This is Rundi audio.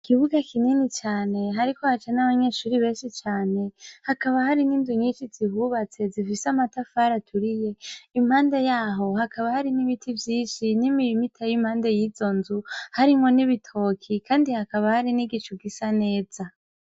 Ikibuga kinini cane hariko haca nabanyeshure benshi cane hakaba hari ninzu nyinshi zihubatse zifise amatafari aturiye impande yaho hakaba hari nibiti vyinshi n'imirima iteye impande yizo nzu harimwo n'ibitoke kandi hakaba hari nigicu gisa neza.